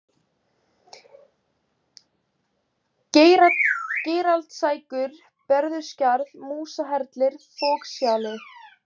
Geiraldslækur, Berufjarðarskarð, Músarhellir, Fokshjalli